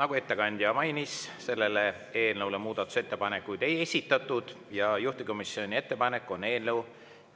Nagu ettekandja mainis, selle eelnõu kohta muudatusettepanekuid ei esitatud ja juhtivkomisjoni ettepanek on eelnõu